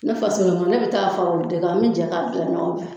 Ne fasolamaa ne bɛ taa fara olu de kan an mɛ jɛ k'a gilan ɲɔgɔn fɛ.